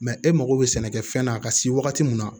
e mago bɛ sɛnɛkɛfɛn na a ka se wagati min na